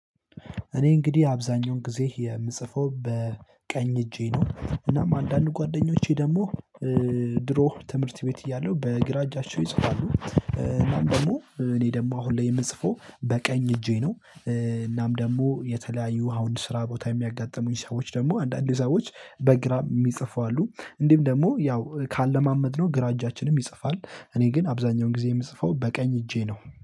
እኔ እንግዲህ አብዛኛውን ጊዜ የምጽፈው በቀኝ እጄ ነው እናም አንዳንድ ጓደኞቼ ደግሞ ድሮ ትምህርት ቤት እያለሁ በግራ እጃቸው ይጽፋሉ እናም ደግሞ እኔ ደግሞ አሁን ላይ የምጽፈው በቀኝ እጄ ነው። እናም ደግሞ የተለያዩ አሁን ስራ ቦታ የሚያጋጥሙኝ ሰዎች ደግሞ አንዳንድ ሰዎች በግራ የሚጽፉ አሉ እንዲም ደግሞ ያው ካለማመድነው ግራ እጃችንም ይጽፋል እኔ ግን አብዛኛውን ጊዜ የምጽፈው በቀኝ እጄ ነው።